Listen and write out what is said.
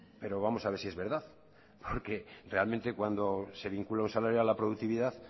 pero vamos a ver si es verdad porque realmente cuando se vincula un salario a la productividad